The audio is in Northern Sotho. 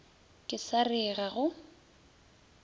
ke sa re ga go